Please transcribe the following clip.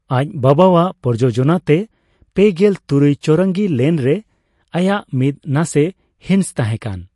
ᱟᱡ ᱵᱟᱵᱟᱣᱟᱜ ᱯᱨᱚᱡᱳᱡᱚᱱᱟ ᱛᱮ ᱯᱮᱜᱮᱞ ᱛᱩᱨᱩᱭ ᱪᱳᱣᱨᱚᱝᱜᱤ ᱞᱮᱱ ᱨᱮ ᱟᱭᱟᱜ ᱢᱤᱫ ᱱᱟᱥᱮ ᱦᱤᱸᱥ ᱛᱟᱦᱮᱸᱠᱟᱱ ᱾